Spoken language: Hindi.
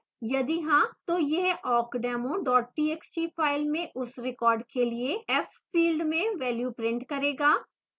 यदि हाँ तो यह awkdemo txt फाइल में उस रिकॉर्ड के लिए fth फिल्ड में value print करेगा